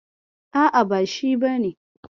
A'a, ba shi bane.